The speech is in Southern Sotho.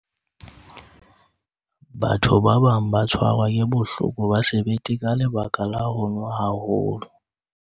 batho ba bang ba tshwarwa ke bohloko ba sebete ka lebaka la ho nwa haholo